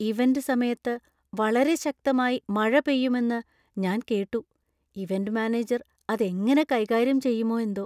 Event സമയത്ത് വളരെ ശക്തമായി മഴ പെയ്യുമെന്ന് ഞാൻ കേട്ടു , ഇവന്റ് മാനേജർ അത് എങ്ങനെ കൈകാര്യം ചെയ്യുമോ എന്തോ!